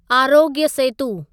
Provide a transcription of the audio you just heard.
Aarogya Setu